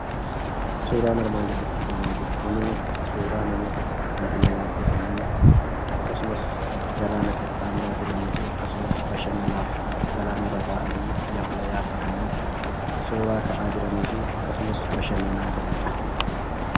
Suuraan armaan gaditti argaamaa jiru kunii suuraa namoota yabala yaabbatanii akkasumas galaana qaxxaamuraa jiraniifi akkasumas bashannanaaf galaana irra taa'anii yabala yaabbatanii suuraa ka'aa jiraniifi akkasumas bashannanaa jiranidha.